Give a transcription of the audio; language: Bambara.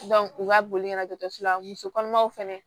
u ka boli kana dɔkitɛriso la muso kɔnɔmaw fɛnɛ